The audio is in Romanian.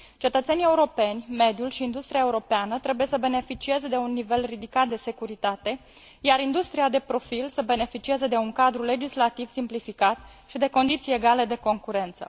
Cetățenii europeni, mediul și industria europeană trebuie să beneficieze de un nivel ridicat de securitate, iar industria de profil să beneficieze de un cadru legislativ simplificat și de condiții egale de concurență.